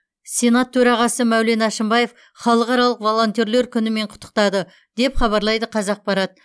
сенат төрағасы мәулен әшімбаев халықаралық волонтерлер күнімен құттықтады деп хабарлайды қазақпарат